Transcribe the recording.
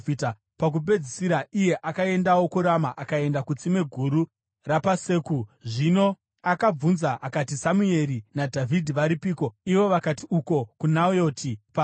Pakupedzisira, iye akaendawo kuRama akaenda kutsime guru rapaSeku. Zvino akabvunza akati, “Samueri naDhavhidhi varipiko?” Ivo vakati, “Uko kuNayoti paRama.”